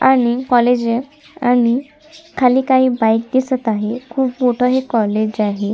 आणि कॉलेज अय आणि खाली काही बाइक दिसत आहेत खूप मोठ हे कॉलेज आहे.